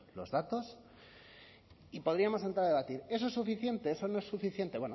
los datos y podríamos entrar a debatir eso es suficiente eso no es suficiente